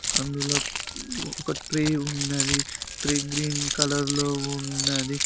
అందులో ఒక ట్రై ఉన్నది ట్రై గ్రీన్ కలర్ లో ఉన్నది.